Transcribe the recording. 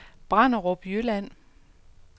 Branderup Jylland